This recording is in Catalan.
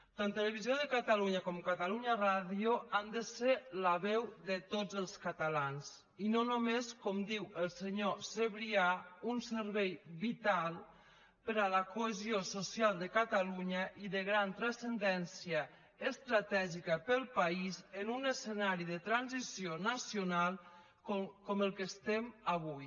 tant televisió de catalunya com catalunya ràdio han de ser la veu de tots els catalans i no només com diu el senyor sabrià un servei vital per a la cohesió social de catalunya i de gran transcendència estratègica per al país en un escenari de transició nacional com el que estem avui